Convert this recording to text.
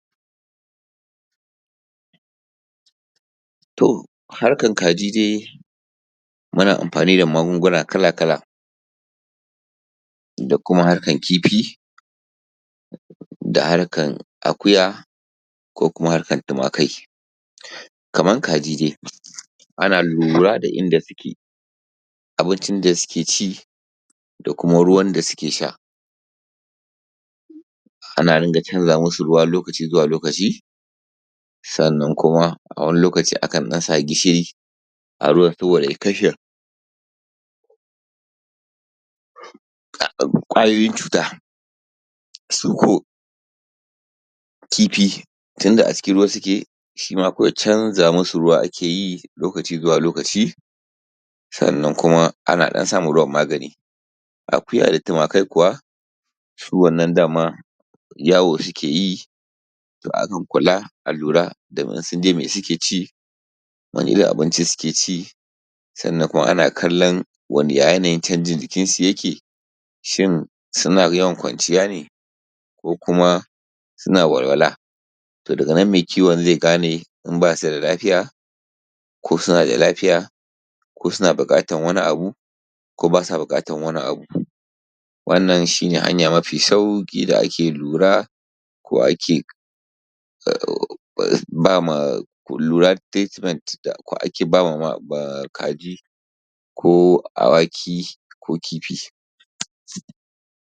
Harkar kaji dai muna amfani da magunguna kala-kala, Da kuma harkar kifi da harkar Akuya ko kuma harkar Tumakai, Kamar kaji dai ana lura da inda suke da abincin da suke ci da kuma ruwan sha da suke sha, Ana dunga canza masu ruwa lokaci zuwa lokaci, sannan kuma a wani lokaci akan ɗan sa gishiri a ruwan saboda ya kashe ƙwayoyin cuta, Su ko Kifi tunda a cikin ruwa suke, su ma kawai canza masu ruwa ake lokaci zuwa lokaci, Sannan kuma a ɗan sa ma ruwan magani, Akuya da Tumakai kuwa su wannan da ma yawo suke yi, To akan kula a lura da in sun je me suke ci, Wane irin abinci suke ci? Sannan kuma ana kallon ya yanayin canjin jikinsu yake, Shin suna yawan kwanciya ne ko kuma suna walwala? To daga nan mai kiwo zai gane in ba su da buƙatar wani abu, Wannan shi ne hanya mafi sauƙi da ake lura ko ake ba ma kaji ko Awaki ko Kifi.